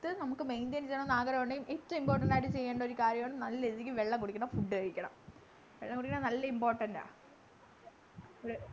നമ്മക്ക് maintain ചെയ്യണം ന്നു ആഗ്രഹമുണ്ടെങ്കി ഏറ്റവും important ആയിട്ട് ചെയ്യേണ്ടഒരു കാര്യമാണ്‌ നല്ല രീതിക്ക് വെള്ളം കുടിക്കണം food കഴിക്കണം വെള്ളം കുടിക്കണം നല്ല important ആ ഒരു